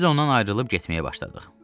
Biz ondan ayrılıb getməyə başladıq.